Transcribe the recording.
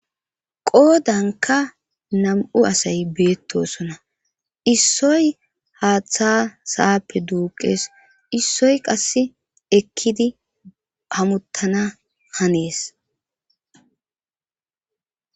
qoodanka nam7u asay beettosona issoy haaththa sa,appe duuqees issoy qasse ekkidi pamuttana hanees